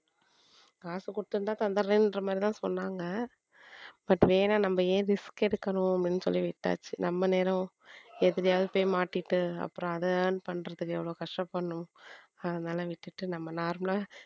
காசு கொடுத்திருந்தா தந்தர்றேன்ற மாதிரிதான் சொன்னாங்க but வேணா நம்ம ஏன் risk எடுக்கணும் அப்படின்னு சொல்லி விட்டாச்சு நம்ம நேரம் எதுலயாவது போய் மாட்டிட்டு அப்புறம் அதை earn பண்றதுக்கு எவ்வளவு கஷ்டப்படணும் அதனால விட்டுட்டு நம்ம normal லா